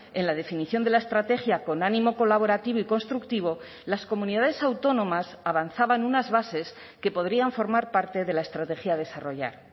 en la definición de la estrategia con ánimo colaborativo y constructivo las comunidades autónomas avanzaban unas bases que podrían formar parte de la estrategia a desarrollar